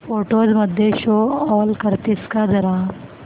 photos मध्ये show all करतेस का जरा